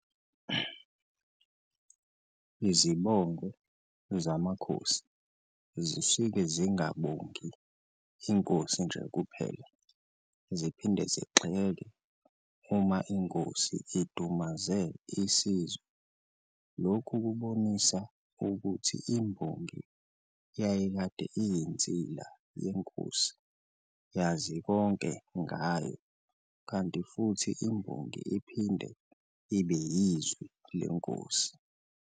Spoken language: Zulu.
Izibongo zamakhosi zisuke zingabongi Inkosi nje kuphela, ziphinde zigxeke uma Inkosi idumaze isizwe. Lokhu kubonisa ukuthi imbongi yayikade iyinsila yenkosi, yazi konke ngayo kanti futhi imbongi iphinde ibe yizwi lesizwe.